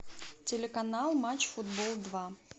телеканал матч футбол два